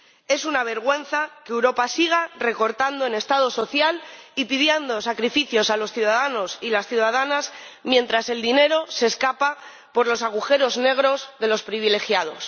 Es una vergüenza que Europa siga recortando en Estado social y pidiendo sacrificios a los ciudadanos y las ciudadanas mientras el dinero se escapa por los agujeros negros de los privilegiados.